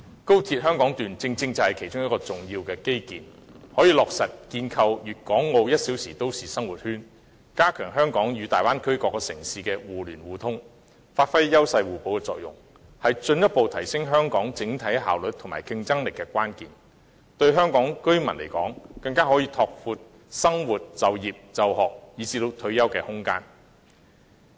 高鐵香港段正是其中一項重要基建，可以落實建構粵港澳 "1 小時生活圈"，加強香港與大灣區各城市的互聯互通，發揮優勢互補的作用，是進一步提升香港整體效率及競爭力的關鍵，更可以拓闊香港居民生活、就業、就學以至退休的空間。